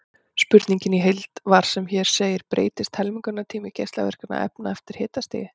Spurningin í heild var sem hér segir: Breytist helmingunartími geislavirkra efna eftir hitastigi?